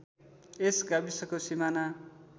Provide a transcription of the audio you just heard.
यस गाविसको सिमाना